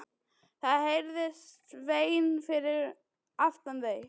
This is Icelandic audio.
Það heyrðist vein fyrir aftan þau.